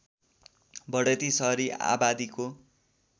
बढती शहरी आबादीको